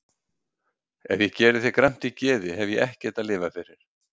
Ef ég geri þér gramt í geði hef ég ekkert að lifa fyrir.